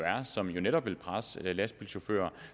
er og som jo netop vil presse lastbilchauffører